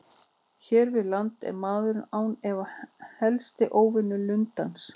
Hér við land er maðurinn án efa helsti óvinur lundans.